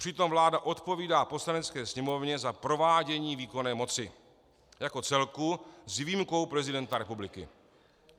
Přitom vláda odpovídá Poslanecké sněmovně za provádění výkonné moci jako celku s výjimkou prezidenta republiky.